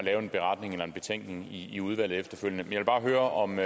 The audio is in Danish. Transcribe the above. lave en beretning eller en betænkning i udvalget efterfølgende vil bare høre om